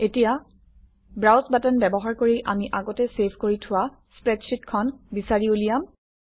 এতিয়া browse button ব্যৱহাৰ কৰি আমি আগতে চেভ কৰি থোৱা স্প্ৰেডশ্বিটখন বিচাৰি উলিয়াম